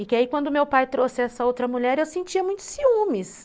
E que aí quando meu pai trouxe essa outra mulher, eu sentia muito ciúmes.